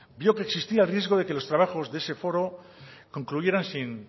vio que existía riesgo de que los trabajos de ese foro concluyeran sin